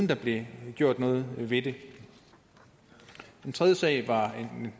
der blev gjort noget ved det en tredje sag drejede